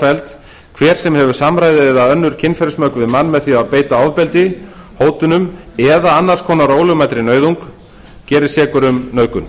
svofelld hver sem hefur samræði eða önnur kynferðismök við mann með því að beita ofbeldi hótunum eða annars konar ólögmætri nauðung gerist sekur um nauðgun